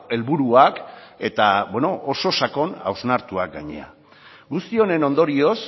helburuak eta oso sakon hausnartuak gainera guzti honen ondorioz